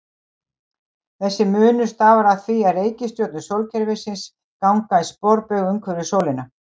Þessi munur stafar af því að reikistjörnur sólkerfisins ganga í sporbaug umhverfis sólina.